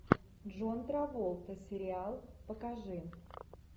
джон траволта сериал покажи